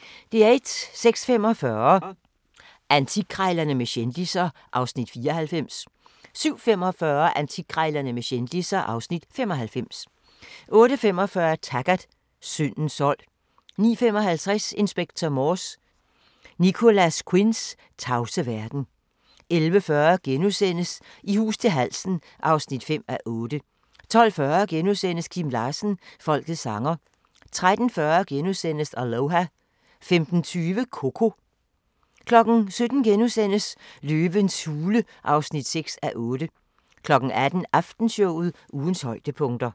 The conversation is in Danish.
06:45: Antikkrejlerne med kendisser (Afs. 94) 07:45: Antikkrejlerne med kendisser (Afs. 95) 08:45: Taggart: Syndens sold 09:55: Inspector Morse: Nicholas Quinns tavse verden 11:40: I hus til halsen (5:8)* 12:40: Kim Larsen – folkets sanger * 13:40: Aloha * 15:20: Coco 17:00: Løvens hule (6:8)* 18:00: Aftenshowet – ugens højdepunkter